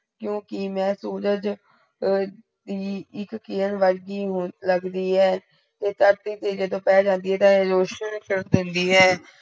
ਕਿਉਕਿ ਮੈ ਸੂਰਜ ਅਹ ਈ ਇਕ ਕਿਰਨ ਵਰਗੀ ਨੂ ਲੱਗਦੀ ਹੈ ਤੇ ਧਰਤੀ ਤੇ ਜਦੋ ਪੈ ਜਾਂਦੀ ਆ ਤਾ ਏ ਰੋਸ਼ਨ ਕਰ ਦਿੰਦੀ ਹੈ।